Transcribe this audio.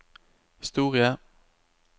historie